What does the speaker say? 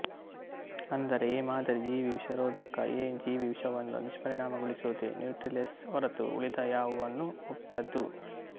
ಅಂದರೆ ಎ ಮಾದರಿ ಜೀವಿವಿಷರೋಧಕ ಎ ಜೀವಿವಿಷವನ್ನು ನಿಷ್ಪರಿಣಾಮಗೊಳಿಸುವುದೇ ನ್ಯೂಟ್ರಿಲೈಸ್ ಹೊರತು ಉಳಿದ ಯಾವುವನ್ನೂ ಮುಟ್ಟದು